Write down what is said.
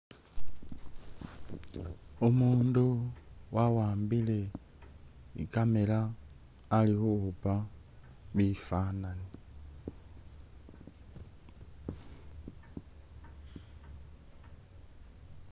Umundu wawambile i'camera ali khukhupa bifananyi.